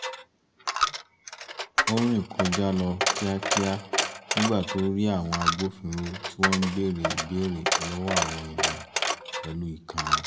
ó rìn kọjá lọ kíákíá nígbà tó rí àwọn agbófinró tí wọ́n ń bèrè ìbéèrè lọ́wọ́ àwọn ènìyàn pẹ̀lú ìkanra